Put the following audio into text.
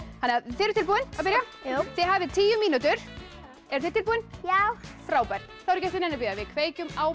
þið eruð tilbúin að byrja já þið hafið tíu mínútur eruð þið tilbúin já frábært þá er ekki eftir neinu að bíða við kveikjum á